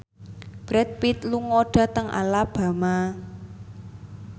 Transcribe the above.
Brad Pitt lunga dhateng Alabama